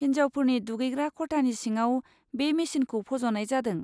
हिनजावफोरनि दुगैग्रा खथानि सिङाव बे मेसिनखौ फज'नाय जादों।